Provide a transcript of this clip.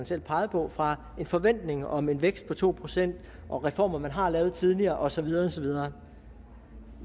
selv pegede på fra en forventning om en vækst på to procent og reformer man har lavet tidligere og så videre og så videre